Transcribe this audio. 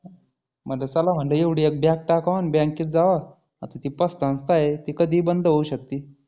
मग चला म्हटलं एवढी एक bag टाकावा अन bank त जावा आता ती पत संस्था आहे कधी बंद होऊ शकती.